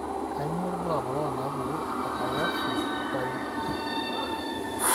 Kainyio irbulabul onaapuku eTakayasu arteritis?